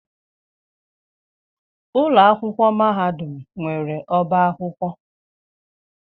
Ụlọ akwụkwọ mahadum nwere ọba akwụkwọ.